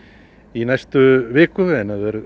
í næstu viku